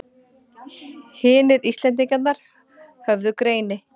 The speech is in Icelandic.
Hinir Íslendingarnir höfðu greini